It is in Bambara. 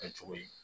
Kɛ cogo yi